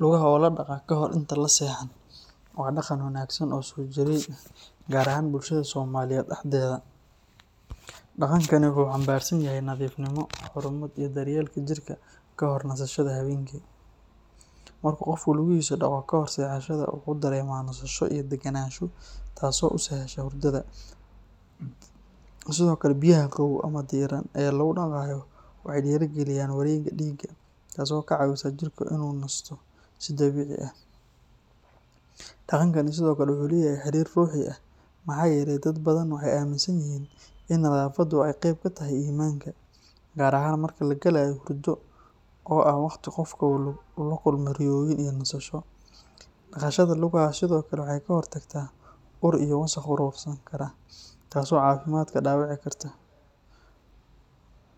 Lugaha oo la dhaqaa kahor inta la seexan waa dhaqan wanaagsan oo soo jireen ah, gaar ahaan bulshada Soomaaliyeed dhexdeeda. Dhaqankani wuxuu xambaarsan yahay nadiifnimo, xurmad iyo daryeelka jirka ka hor nasashada habeenkii. Marka qofku lugihiisa dhaqo kahor seexashada, wuxuu dareemaa nasasho iyo degganaansho taasoo u sahasha hurdada. Sidoo kale, biyaha qabow ama diiran ee lagu dhaqayo waxay dhiirrigeliyaan wareegga dhiigga, taasoo ka caawisa jirka inuu nasto si dabiici ah. Dhaqankani sidoo kale wuxuu leeyahay xiriir ruuxi ah, maxaa yeelay dad badan waxay aaminsan yihiin in nadaafaddu ay qeyb ka tahay iimaanka, gaar ahaan marka la galayo hurdo oo ah waqti qofka uu la kulmo riyooyin iyo nasasho. Dhaqashada lugaha sidoo kale waxay ka hortagtaa ur iyo wasakh urursan kara, taasoo caafimaadka dhaawici karta.